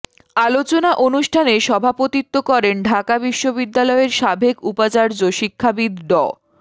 আলোচনা অনুষ্ঠানে সভাপতিত্ব করেন ঢাকা বিশ্ববিদ্যালয়ের সাবেক উপাচার্য শিক্ষাবিদ ড